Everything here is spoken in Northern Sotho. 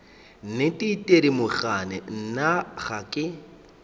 nnete thedimogane nna ga ke